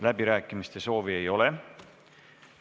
Läbirääkimiste soovi ei ole.